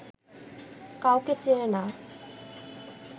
কাউকে চেনে না